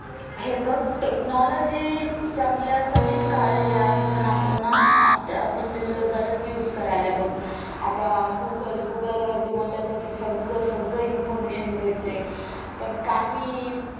हे बघ technology चांगल्यासाठीच काढलेला आहे पुन्हा पुन्हा पण आपण त्याचा गलत use करायला लागलोय बघ आता google वर google वर तुम्हाला त्याच सगळ सगळ information भेटते पण काही